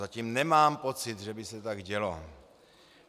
Zatím nemám pocit, že by se tak dělo.